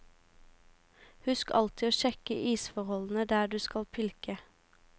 Husk alltid å sjekke isforholdene der du skal pilke.